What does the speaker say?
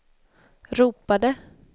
ropade